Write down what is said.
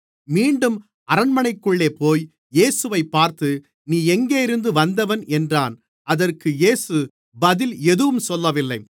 மீண்டும் அரண்மனைக்குள்ளேபோய் இயேசுவைப் பார்த்து நீ எங்கேயிருந்து வந்தவன் என்றான் அதற்கு இயேசு பதில் எதுவும் சொல்லவில்லை